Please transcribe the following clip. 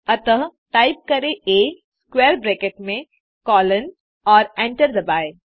अतः टाइप करें आ स्क्वैर ब्रैकेट में कोलोन और एंटर दबाएँ